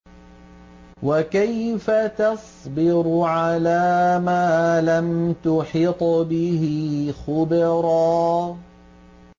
وَكَيْفَ تَصْبِرُ عَلَىٰ مَا لَمْ تُحِطْ بِهِ خُبْرًا